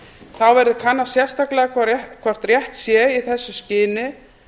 þá verði kannað sérstaklega hvort rétt sé í þessu skyni